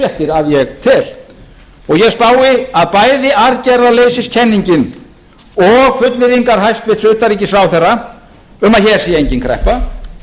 tel og ég spái að bæði aðgerðarleysiskenningin og fullyrðingar hæstvirts utanríkisráðherra um að hér sé engin kreppa